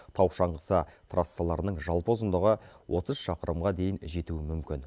тау шаңғысы трассаларының жалпы ұзындығы отыз шақырымға дейін жетуі мүмкін